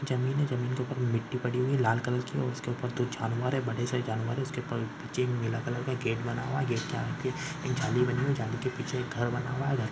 जमीन है जमीन के उपर मिट्टी पड़ी है लाल कलर की और उसके ऊपर दो जानवर है बड़े से जानवर है उसके ऊपर चेन नीला कलर का गेट बना हुआ है। गेट के आगे जाली बनी है जाली के पीछे एक घर बना हुवा है। घर --